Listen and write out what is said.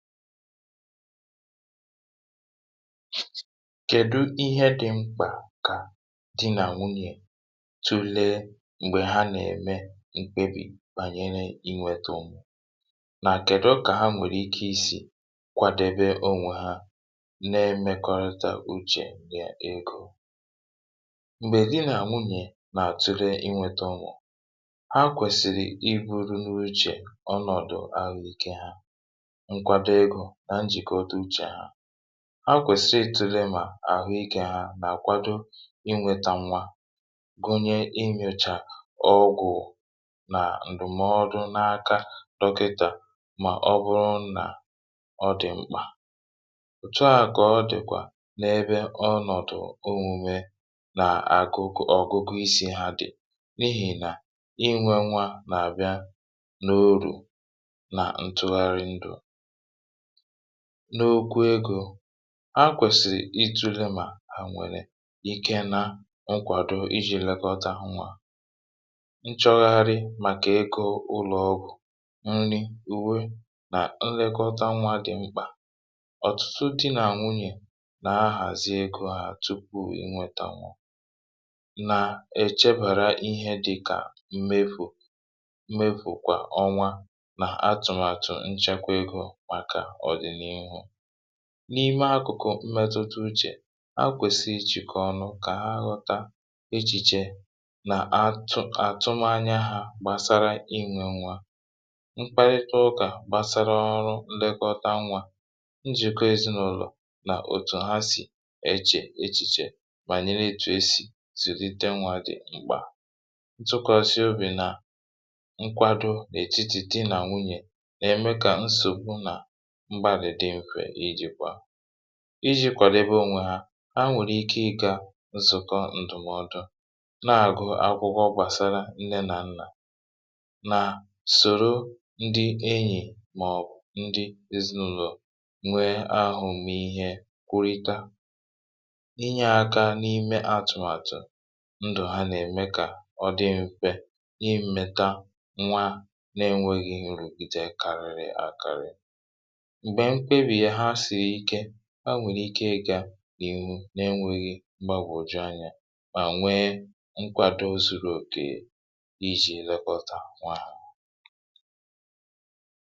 kèdu ihe dị̄ mkpà kà di nà nwunyè tulee m̀gbè ha nà-ème mkpebì bànyere inwētē ụmụ̀ nà kèdụ kà ha nwèrè ike isì kwadebe onwe ha nê:mékɔ́rítá úʧè nà égō m̀gbè di nà nwunyè nà-àtule inwētā ụmụ̀ ha kwèsìrì ibūru n’uchè ọnọ̀dụ àhụikē ha nkwado egō nà njìkọta uchè ha ha kwèsì itūle mà àhụikē ha nà-àkwado inwētā nwa gụnye inyòchà ọgwụ̀ nà ǹdụ̀mọdụ n’aka dọkịtà mà ọ bụrụ nà ọ dị̀ mkpà òtuà kà ọ dị̀kwà n’ebe ọnọ̀dụ̀ omūme nà àkụkụ ọ̀gụgụ isī ha dị̀ n’ihì nà inwē nwa nà-àbịa n’orù nà ntụgharị ndụ̀ n’okwu egō ha kwèsìrì itūle mà hà ènwèrè ike nà nkwàdo ijī lekọta nwā nchọgharị màkà ego ụlọ̀ ọgwụ̀ nri, ùwe nà nlekọta nwā dị̇̀ mkpà ọ̀tụtụ dị nà nwunyè nà-ahàzi egō ha tupuù inwētā ụmụ̀ nà-èchebàra ihe dị́ka mmefù mmefù kwà ọnwa nà atụ̀màtụ̀ nchekwa egō màkà ọ̀dị̀n’ihu n’ime akụ̀kụ̀ mmetụta uchè ha kwèsì ijìkọ ọnụ kà ha ghọta echìchè nà atụ àtụmaanya hā gbàsara inwē nwa mkpalịta ụkà gbasara ọrụ nlekọta nwā njị̀kọ ezinàụlọ̀ nà òtù ha sì echè echìchè bànyere ètù esì zụ̀lite nwā dị̀ mkpà ntụkwàsị obì nà nkwàdo n’ètitì dị nà nwunyè nà-ème kà nsògbu nà mgbalède nhùè ijī kwa ijī kwàdebe onwe ha, ha nwèrè ike ịgā nzụ̀kọ ǹdụ̀mọdụ nà-àgụ akwụkwọ gbàsara nne nà nnà mà sòró ńdɪ́ éɲì mɔ̀:bʊ̀ ńdɪ́ ézínàʊ́lɔ̀ nwee ahụ̄ mee ihe kwụrịta inyē aka n’ime atụ̀màtụ̀ ndụ̀ ha nà-ème kà ọ dị m̄fē n’imēta nwa na-enweghị̄ nrùkwute karịrị àkarị m̀gbè mkpebìyè ha siri ike ha nwèrè ike ịgā n’ihu na-enwēghị mgbagwòju anyā mà nwee nkwàdo zuru òkè ijī lekọta ònwe hā